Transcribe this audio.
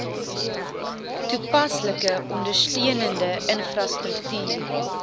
toepaslike ondersteunende infrastruktuur